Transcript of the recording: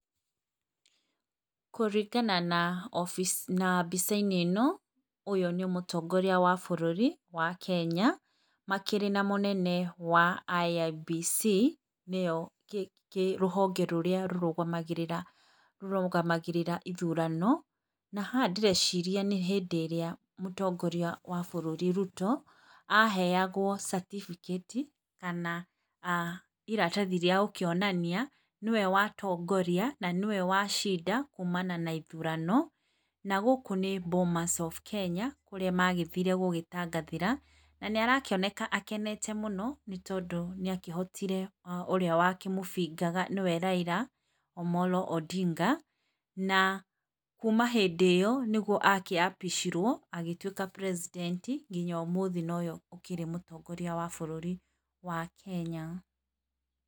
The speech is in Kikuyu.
Kũringana na obici na mbica-inĩ ĩno ũyũ nĩ mũtongoria wa bũrũri wa Kenya, makĩrĩ na mũnene wa IEBC nĩo kĩ kĩ rũhonge rũrĩa rũrũgamagĩrĩra rũrũgamagĩrĩra ithurano, na haha ndĩreciria nĩ hĩndĩ ĩrĩa mũtongoria wa bũrũri ruto, aheagwo certificate kana iratathi rĩa gũkĩonania nĩwe watongoria na nĩwe wacinda kumana na ithurano, na gũkũ nĩ Bomas of Kenya kũrĩa magĩthire gũgĩtangathĩra na nĩarakĩoneka akenete mũno nĩ tondũ nĩakĩhotire ũrĩa wa kĩmũbingaga nĩwe Raila Omolo Odinga, na, kuma hĩndĩ ĩo nĩguo akĩapishagwo agĩtuweka president nginya ũmũthĩ ũyũ nowe ũkĩrĩ mũtongoria wa bũrũri, wa Kenya.